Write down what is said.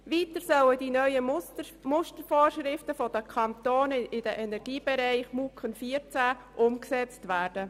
Weiter sollen die neuen MuKEn 2014 umgesetzt werden.